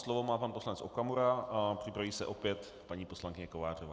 Slovo má pan poslanec Okamura a připraví se opět paní poslankyně Kovářová.